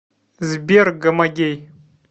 сбер гомогей